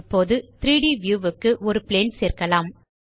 இப்போது 3ட் வியூ க்கு ஒரு பிளேன் சேர்க்கலாம்